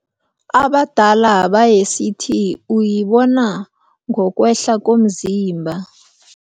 Abadala bayesithi uyibona ngokwehla komzimba.